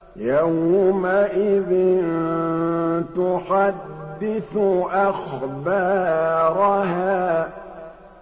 يَوْمَئِذٍ تُحَدِّثُ أَخْبَارَهَا